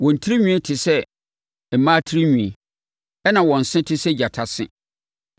Wɔn tirinwi te sɛ mmaa tirinwi, ɛnna wɔn se nso te sɛ gyata se.